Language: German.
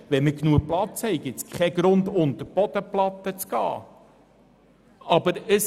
Wenn wir genügend Platz haben, gibt es keinen Grund, unter die Bodenplatte zu gehen.